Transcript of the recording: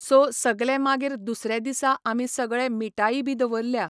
So सगले मागीर दुसरें दीसा आमी सगळे मिटाई बी दवरल्ल्या.